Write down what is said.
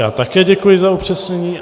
Já také děkuji za upřesnění.